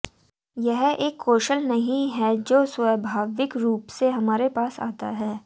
यह एक कौशल नहीं है जो स्वाभाविक रूप से हमारे पास आता है